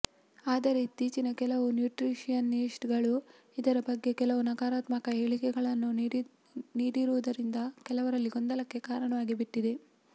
ಆದರೆ ಇತ್ತೀಚಿನ ಕೆಲವು ನ್ಯೂಟ್ರೀಷಿಯನಿಷ್ಟ್ ಗಳು ಇದರ ಬಗ್ಗೆ ಕೆಲವು ನಕಾರಾತ್ಮಕ ಹೇಳಿಕೆಗಳನ್ನು ನೀಡಿರುವುದರಿಂದ ಕೆಲವರಲ್ಲಿ ಗೊಂದಲಕ್ಕೆ ಕಾರಣವಾಗಿ ಬಿಟ್ಟಿದೆ